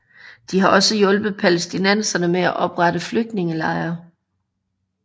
De har også hjulpet palæstinenserne med at oprette flygtningelejre